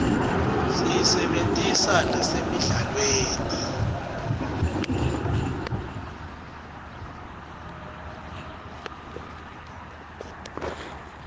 siyisebentisa nasemidlalweni